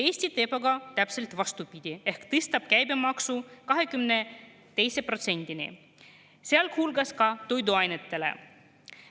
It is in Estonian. Eesti teeb aga täpselt vastupidi ehk tõstab käibemaksu 22%-ni, sealhulgas toiduainetele.